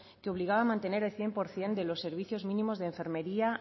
que obligaba a mantener el cien por ciento de los servicios mínimos de enfermería